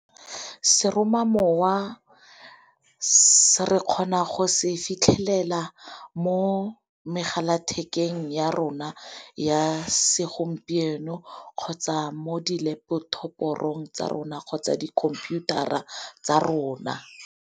Seromamowa re kgona go se fitlhelela mo megala thekeng ya rona ya segompieno kgotsa mo di-laptop-orong tsa rona kgotsa di khomputara tsa rona.